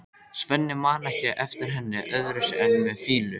Jóhann: Er það gert með rekstrarstöðvunartryggingu?